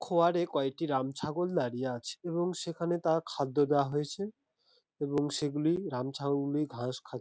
খোঁয়াড়ে কয়টি রামছাগল দাঁড়িয়ে আছে এবং সেখানে তার খাদ্য দেওয়া হয়েছে এবং সেগুলি রামছাগলে ঘাস খা--